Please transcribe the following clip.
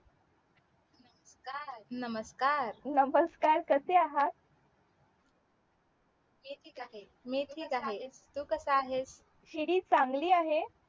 नमस्कार नमस्कार कसे आहात मी ठीक आहे मी ठीक आहे तू कसा आहेस